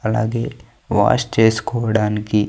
అలాగే వాష్ చేసుకోవడానికి--